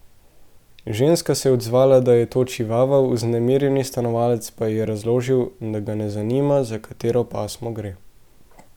Ženska se je odzvala, da je to čivava, vznemirjeni stanovalec pa ji je razložil, da ga ne zanima, za katero pasmo gre.